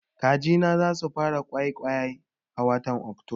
Kaji na za su fara ƙwayaƙwai a watan Oktoba